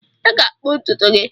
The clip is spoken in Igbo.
Ị ga-akpụ ntutu gị!